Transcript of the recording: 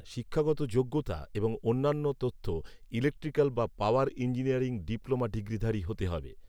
শিক্ষাগত যোগ্যতা এবং অন্যান্য তথ্যঃ ইলেকট্রিক্যাল বা পাওয়ার ইঞ্জিনিয়ারিং ডিপ্লোমা ডিগ্রিধারি হতে হবে